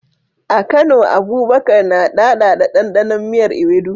A Kano, Abubakar na daɗaɗa ɗanɗanon miyar Ewedu.